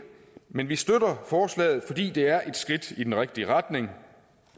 men vi støtter forslaget fordi det er et skridt i den rigtige retning